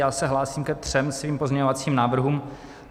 Já se hlásím ke třem svým pozměňovacím návrhům.